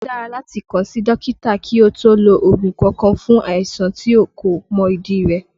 Ó dára láti kàn sí dókítà kí o tó lo ògùn kankan fún àìsàn tí o kò mọ ìdí rẹ̀